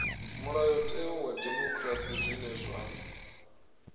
mulayotewa wa dimokirasi zwine zwa